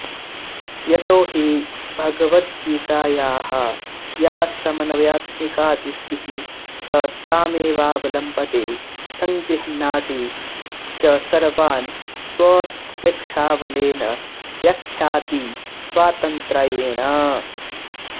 यतो हि भगावदगीतायाः या समन्वयात्मिकादृष्टिः स तामेवावलम्बते संगृहणाति च सर्वान् स्वोत्प्रेक्षाबलेन व्याख्याति स्वातन्त्रयेण